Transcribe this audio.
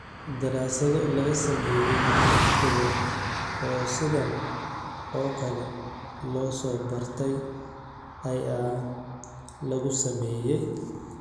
Daraasado laga sameeyay lix gobol oo sidaan oo kale loo soo bartay ayaa lagu sameeyay.